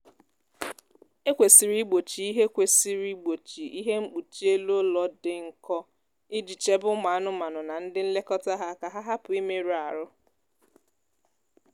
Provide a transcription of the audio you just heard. e kwesịrị igbochi ihe kwesịrị igbochi ihe mkpuchi elu ụlọ dị nkọ iji chebe ụmụ anụmanụ na ndi nlekọta ha ka ha hupu imerụ ahụ